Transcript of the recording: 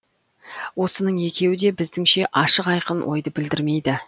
осының екеуі де біздіңше ашық айқын ойды білдірмейді